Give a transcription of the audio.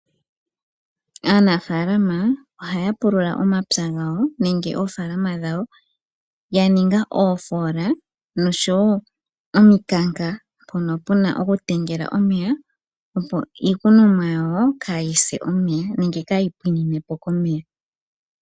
Aanafaalama ohaya pulula omapya gawo nenge oofaalama dhawo ya ninga iimpungu nosho wo omikanka mpono puna okukaleka omeya opo iikunomwa yawo kaayi se omeya nenge kaayi henwe komeya.